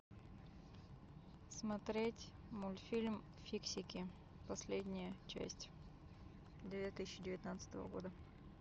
смотреть мультфильм фиксики последняя часть две тысячи девятнадцатого года